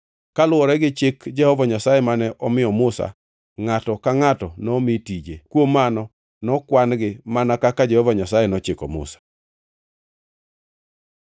Kaluwore gi chik Jehova Nyasaye mane omiyo Musa, ngʼato ka ngʼato nomi tije. Kuom mano nokwan-gi, mana kaka Jehova Nyasaye nochiko Musa.